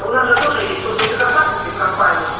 у нас же тоже есть служба безопасности в компании